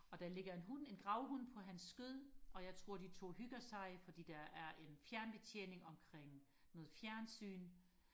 og der ligger en hund en gravhund på hans skød og jeg tror de to hygger sig fordi der er en fjernbetjening omkring noget fjernsyn